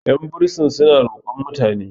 yan bursin suna roƙon mutane